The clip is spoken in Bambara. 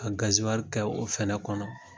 Ka kɛ o fana kɔnɔ